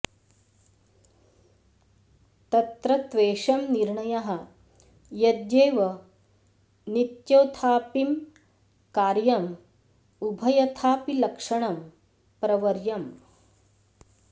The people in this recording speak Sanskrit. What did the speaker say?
तत्र त्वेषं निर्णयः यद्येव नित्योथापिं कार्यं उभंयथा पि लक्षणं प्रवर्यम्